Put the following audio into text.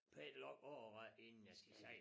Pæn lang årrække inden jeg skal sige